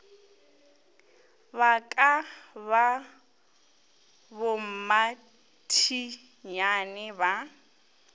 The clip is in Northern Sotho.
ba ka ba bommathinyane ba